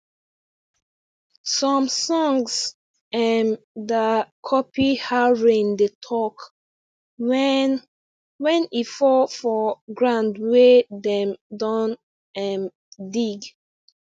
some songs um da copy how rain dey talk wen wen e fall for ground wey dem don um dig